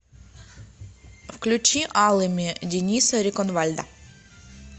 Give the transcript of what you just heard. включи алыми дениса реконвальда